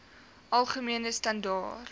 algemene standaar